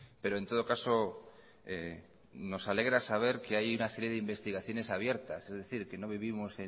pero en todo caso nos alegra saber que hay una serie de investigaciones abiertas es decir que no vivimos